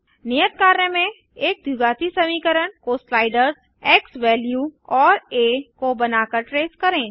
नियत कार्य में एक द्विघाती समीकरण को स्लाइडर्स एक्सवैल्यू और आ को बनाकर ट्रेस करें